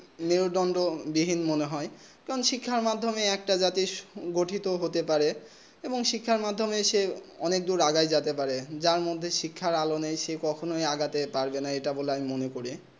নির্দন্ত বিহীন মনে হয়ে কারণ শিক্ষা মাধ্যমেই একটা জাতি গঠিত হতে পারে এবং শিক্ষা মাধ্যমেই অনেক দূর আগেই যেতে পারে যার মদদে শিক্ষা আলো নেই সেই কখন আগতে পারে না এই আমি মনে করি